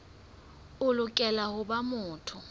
o lokela ho ba motho